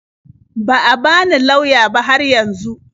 Ba a bani lauya ba har yanzu.